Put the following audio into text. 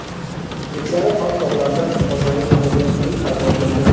Shveysariya Alp tog‘larida oynali xameleon-uy paydo bo‘ldi .